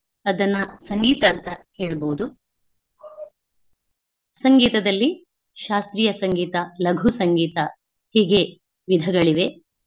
ಅದನ್ನ ಸಂಗೀತ ಅಂತ ಹೇಳ್ಬೋದು. ಸಂಗೀತದಲ್ಲಿ ಶಾಸ್ತ್ರಿಯ ಸಂಗೀತ, ಲಘು ಸಂಗೀತ ಹೀಗೆ ವಿಧಗಳಿವೆ.